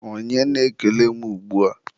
onye na-ekele m ugbua?